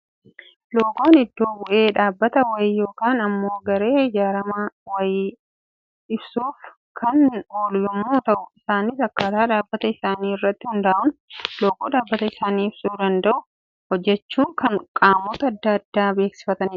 Loogoon iddo bu'ee dhaabbata wayii yookaan immoo garee ijaarame wayii insuuf kan oolu yemmuu ta'u, isaanis akkaataa dhaabbata isaanii irratti hundaa'uun loogoo dhaabbata isaanii ibsuu danda'u hojjetachuun kan qaamota addaa addaa beeksifatanidha.